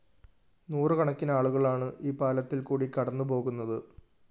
നൂറുകണക്കിനാളുകളാണ് ഈ പാലത്തില്‍കൂടി കടന്നു പോകുന്നത്